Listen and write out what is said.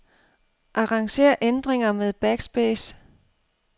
Arranger ændringer med backspace.